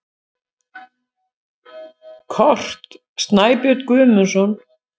Kort: Snæbjörn Guðmundsson.